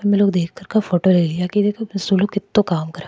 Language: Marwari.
फोटो ले लिया सुल ऊ कितो काम कर।